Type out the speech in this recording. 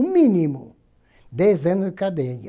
O mínimo, dez anos de cadeia.